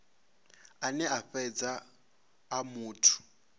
ane a fhedza a muthu